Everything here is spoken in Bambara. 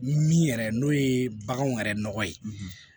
Min yɛrɛ n'o ye baganw yɛrɛ nɔgɔ ye